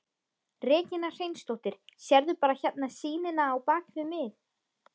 Regína Hreinsdóttir: Sérðu bara hérna sýnina á bakvið mig?